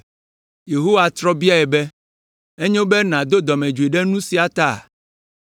Yehowa trɔ biae be, “Enyo be nàdo dɔmedzoe ɖe nu sia ta?”